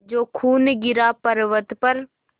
जो खून गिरा पवर्अत पर